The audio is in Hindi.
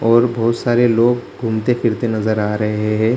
और बहुत सारे लोग घूमते-फिरते नजर आ रहे है ।